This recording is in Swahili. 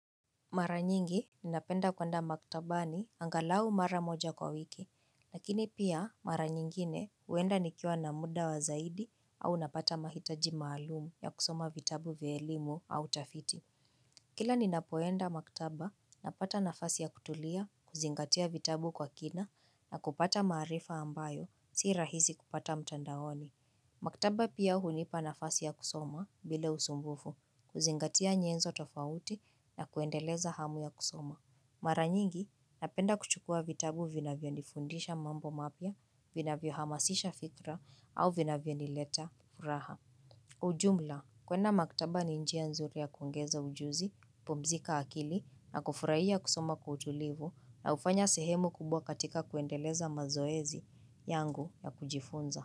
Mara nyingi ninapenda kwenda maktabani angalau mara moja kwa wiki, lakini pia mara nyingine huenda nikiwa na muda wa zaidi au napata mahitaji maalumu ya kusoma vitabu vye elimu au tafiti. Kila ninapoenda maktaba, napata nafasi ya kutulia, kuzingatia vitabu kwa kina na kupata maarifa ambayo, si rahisi kupata mtandaoni. Maktaba pia hunipa nafasi ya kusoma bila usumbufu kuzingatia nyenzo tofauti na kuendeleza hamu ya kusoma. Mara nyingi napenda kuchukua vitabu vinavyonifundisha mambo mapya, vinavyohamasisha fikra au vinavyonileta furaha. Ujumla, kwenda maktaba ni njia nzuri ya kuongeza ujuzi, kupumzika akili na kufurahia kusoma kwa utulivu na kufanya sehemu kubwa katika kuendeleza mazoezi yangu ya kujifunza.